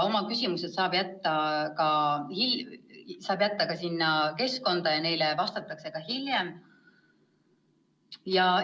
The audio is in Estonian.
Oma küsimused saab jätta ka sinna keskkonda ja neile siis hiljem vastatakse.